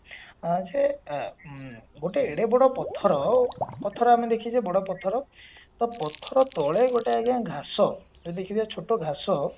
ଅ ସେ ଉଁ ଗୋଟେ ଏଡେ ବଡ ପଥର ପଥର ଆମେ ଦେଖିଛେ ବଡ ପଥର ତ ପଥର ତଳେ ଗୋଟେ ଆଜ୍ଞା ଘାସ ଯୋଉ ଦେଖିବେ ଛୋଟ ଘାସ